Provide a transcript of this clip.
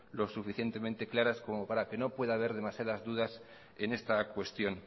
lo suficientemente claras como para que no pueda haber demasiadas dudas en esta cuestión